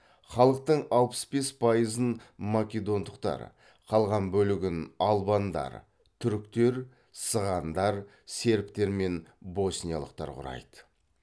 халықтың алпыс бес пайызын македондықтар қалған бөлігін албандар түріктер сығандар сербтер мен босниялықтар құрайды